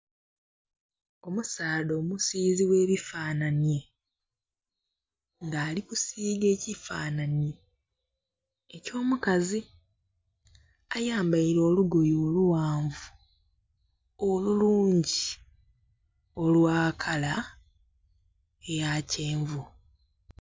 Omusaadha omusizi ogh'ebifanhanye nga ali kusiga ekifanhanhi eky'omukazi ayambeire olugoye olughanvu olulungi olwa kala eya kyenvu.